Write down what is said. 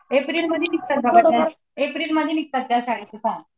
एप्रिलमध्ये एप्रिलमध्ये निघतात त्या शाळेचे फॉर्म.